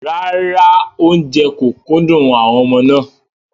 Rárá, oúnjẹ kò kúndùn àwọn ọmọ náà.